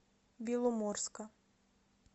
беломорска